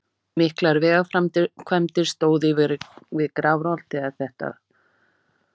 Miklar vegaframkvæmdir stóðu yfir við Grafarholt þegar þetta varð.